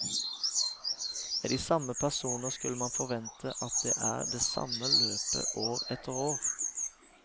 Med de samme personer skulle man forvente at det er det samme løpet år etter år.